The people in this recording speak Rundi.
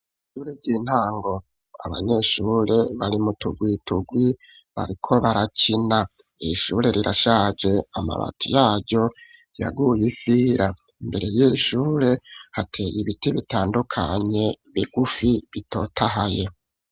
Ishure ry'intango abanyeshure bari mutugwitugwi bariko barakina ishure rirashaje amabati yaryo yaguye ifira mbere y'ishure hateye ibiti bitandukanye bigufi bitotahaye.